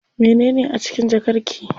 Mene a cikin jakar ki?